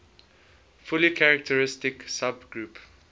fully characteristic subgroup